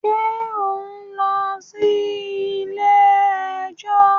ǹjẹ́ ò ń lọ sí “ilé ẹjọ́ ”?